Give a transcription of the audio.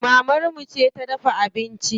Mamar mu ce ta dafa abinci.